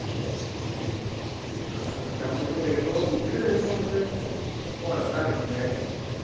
അതാണ് പക്ഷെ നമ്മള് കേറിയപ്പോ ഇത് കേറിയപ്പോ നമ്മള് കൊഴക്കറിഞ്ഞു ല്ലേ